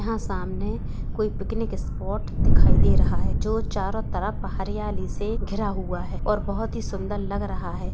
यहाँ सामने कोई पिकनिक स्पॉट दिखाई दे रहा है जो चारो तरप हरियाली से घिरा हुआ है और बोहोत ही सुन्दर लग रहा है।